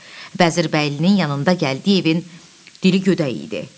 Vəzirbəylinin yanında Gəldiyev evin dili gödəyi idi.